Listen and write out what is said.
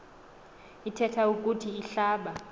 ithethe ukuthi ihlaba